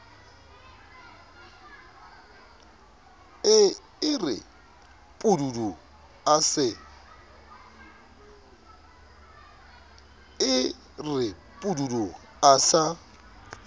e re pududu a sa